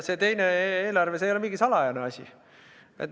See teine eelarve, see ei ole mingi salajane asi.